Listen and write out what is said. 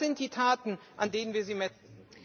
Das sind die Taten, an denen wir Sie messen.